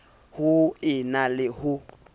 ho e na le ho